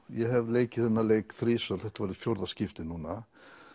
ég hef leikið þennan leik þrisvar þetta var fjórða skipti núna